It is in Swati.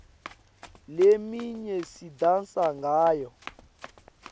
leminye sidansa ngayo